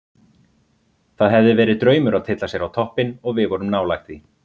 Það hefði verið draumur að tylla sér á toppinn og við vorum nálægt því.